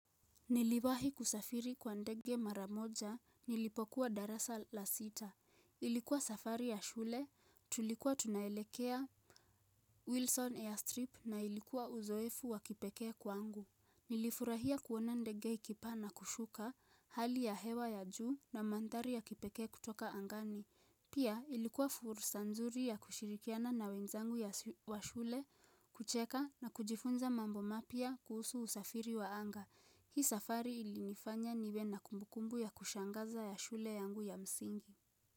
Niliwahi kusafiri kwa ndege mara moja, nilipokuwa darasa la sita. Ilikuwa safari ya shule, tulikuwa tunaelekea Wilson Airstrip na ilikuwa uzoefu wa kipekee kwangu. Nilifurahia kuona ndege ikipaa na kushuka hali ya hewa ya juu na mandhari ya kipekee kutoka angani. Pia ilikuwa furusa nzuri ya kushirikiana na wenzangu wa shule kucheka na kujifunza mambo mapya kuhusu usafiri wa anga. Hii safari ilinifanya niwe na kumbukumbu ya kushangaza ya shule yangu ya msingi.